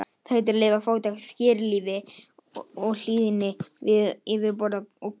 Það heitir því að lifa í fátækt, skírlífi og hlýðni við yfirboðara og Guð.